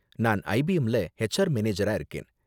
நான் ஐபிஎம்ல ஹெச்ஆர் மேனேஜரா இருக்கேன்.